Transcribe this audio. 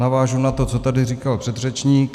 Navážu na to, co tady říkal předřečník.